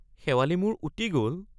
শেৱালি মোৰ উটি গল!